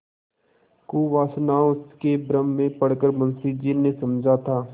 कुवासनाओं के भ्रम में पड़ कर मुंशी जी ने समझा था